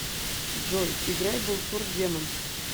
джой играй булсур демон